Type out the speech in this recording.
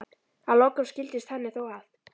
Að lokum skildist henni þó að